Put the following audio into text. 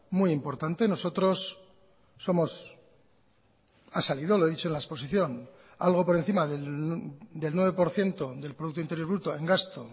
muy importante nosotros somos ha salido lo he dicho en la exposición algo por encima del nueve por ciento del producto interior bruto en gasto